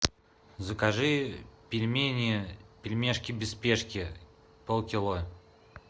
закажи пельмени пельмешки без спешки полкило